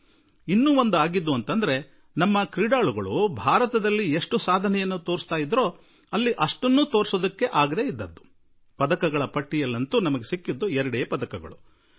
ಯಾರು ಆಟಗಾರರು ಭಾರತದಲ್ಲಿ ಯಾವ ರೀತಿ ಆಟವಾಡುತ್ತಿದ್ದರೋ ಇಲ್ಲಿಯ ಆಟಗಳಲ್ಲಿ ಯಾವ ರೀತಿಯ ಸಾಧನೆ ತೋರುತ್ತಿದ್ದರೋ ಅವರೂ ಕೂಡಾ ಅಲ್ಲಿನ ತನಕವೂ ತಲುಪಲು ಆಗಲಿಲ್ಲ ಎನ್ನುವುದೂ ಕೆಲವು ಆಟಗಳಲ್ಲಿ ಉಂಟಾಯಿತು ಮತ್ತು ಪದಕ ಪಟ್ಟಿಯಲ್ಲಿ ಕೇವಲ ಎರಡೇ ಪದಕಗಳು ಲಭಿಸಿವೆ